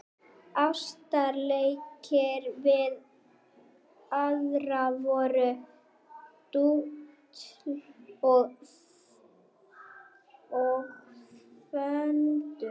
Ástarleikir við aðra voru dútl og föndur.